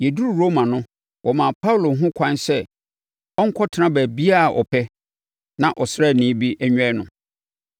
Yɛduruu Roma no, wɔmaa Paulo ho ɛkwan sɛ ɔnkɔtena baabiara a ɔpɛ na ɔsraani bi nnwɛn no.